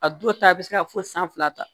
A dɔw ta bɛ se ka fo san fila ta